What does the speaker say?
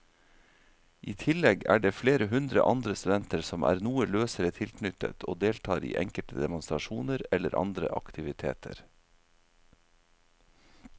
I tillegg er det flere hundre andre studenter som er noe løsere tilknyttet og deltar i enkelte demonstrasjoner eller andre aktiviteter.